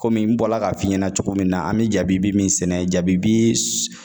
Kɔmi, n bɔra k'a f'i ɲɛna cogo min na, an bɛ jabi bi min sɛnɛ jabi bi